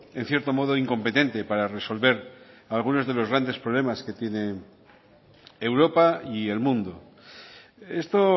en cierto modo incompetente para resolver algunos de los grandes problemas que tiene europa y el mundo esto